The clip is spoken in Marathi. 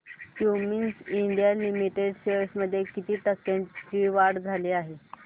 क्युमिंस इंडिया लिमिटेड शेअर्स मध्ये किती टक्क्यांची वाढ झाली